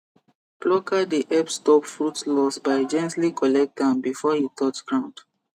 plucker dey help stop fruit loss by gently collect am before e touch ground